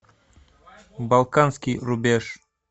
балканский рубеж